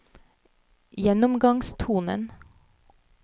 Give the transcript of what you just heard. gjennomgangstonen